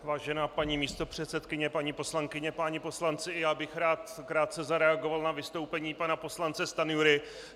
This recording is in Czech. Vážená paní místopředsedkyně, paní poslankyně, páni poslanci, i já bych rád krátce zareagoval na vystoupení pana poslance Stanjury.